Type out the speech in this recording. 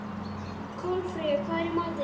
Kolfreyja, hvað er í matinn?